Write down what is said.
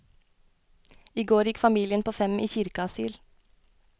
I går gikk familien på fem i kirkeasyl.